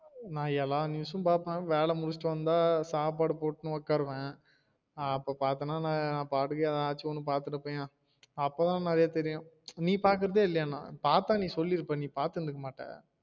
நா எல்லா news உம் பாப்பேன் வேல முடிச்சிட்டு வந்தா சாப்பாடு போட்டு ஒக்காருவேன் அப்ப பாத்தேனா நாபாட்டுக்கு எதாச்சு ஒன்னு பாத்துகிட்டு இருப்பேயா அப்ப தான் நிறையா தெரியும் நீ பாக்குறதே இல்லையா பாத்தா நீ சொல்லிருப்ப நீ பத்திருந்திருக்க மாட்ட